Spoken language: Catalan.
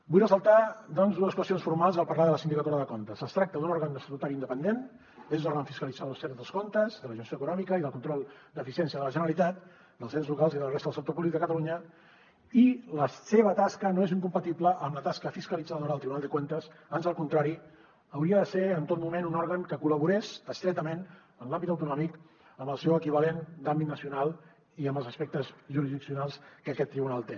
vull ressaltar doncs dues qüestions formals al parlar de la sindicatura de comptes es tracta d’un òrgan estatutari independent és l’òrgan fiscalitzador extern dels comptes de la gestió econòmica i del control d’eficiència de la generalitat dels ens locals i de la resta del sector públic a catalunya i la seva tasca no és incompatible amb la tasca fiscalitzadora del tribunal de cuentas ans al contrari hauria de ser en tot moment un òrgan que col·laborés estretament en l’àmbit autonòmic amb el seu equivalent d’àmbit nacional i amb els aspectes jurisdiccionals que aquest tribunal té